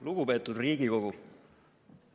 Lugupeetud Riigikogu!